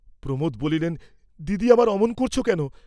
প্রমোদ বলিলেন, "দিদি আমার, অমন করছ কেন?"